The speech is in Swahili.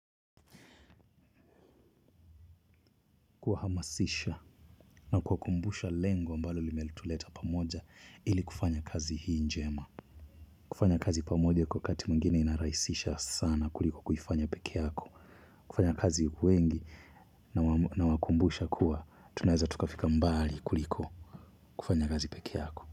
Kuhamasisha na kuwakumbusha lengo ambalo limetuleta pamoja ili kufanya kazi hii njema. Kufanya kazi pamoja kwa wakati mwingine inarahisisha sana kuliko kufanya pekee yako. Kufanya kazi wengi nawakumbusha kuwa. Tunaeza tukafika mbali kuliko kufanya kazi pekee yako.